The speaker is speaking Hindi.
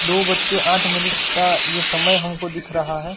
दो बज के आठ मिनट का ये समय हमको दिख रहा है।